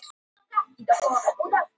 Valur og Breiðablik mætast svo á Hlíðarenda.